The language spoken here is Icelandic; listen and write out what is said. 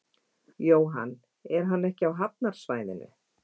Jóhann: Er hann ekki á hafnarsvæðinu?